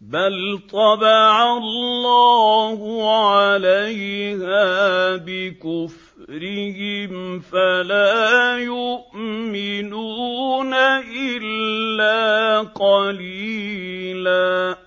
بَلْ طَبَعَ اللَّهُ عَلَيْهَا بِكُفْرِهِمْ فَلَا يُؤْمِنُونَ إِلَّا قَلِيلًا